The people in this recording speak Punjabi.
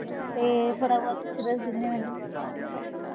ਤੇ ਥੋੜਾ ਬਹੁਤ ਕੁੱਝ ਦੱਸ ਦਿੰਦੇ ਮੈਨੂੰ